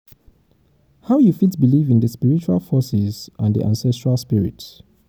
how you fit believe in di spiritual forces and di ancestral spirits?